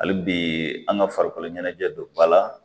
Hali bi an ka farikolo ɲɛnajɛ don ba la